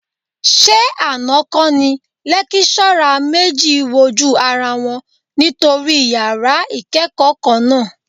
Ṣé àná kọ́ ni lékíṣọ́rà méjì wojú ara wọn nítorí yàrá ìkẹ́kọ̀ọ́ kan náà?